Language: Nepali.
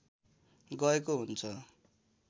गएको हुन्छ